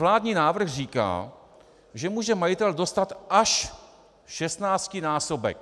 Vládní návrh říká, že může majitel dostat až 16násobek.